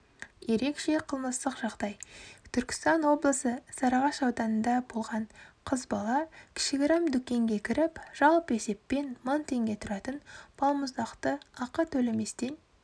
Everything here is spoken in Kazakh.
ерекше қылмыстық жағдай түркістан облысы сарыағаш ауданында болған қыз бала кішігірім дүкенге кіріп жалпы есеппен мың теңге тұратын балмұздақты ақы төлеместен